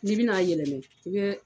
N'i bɛna a yɛlɛma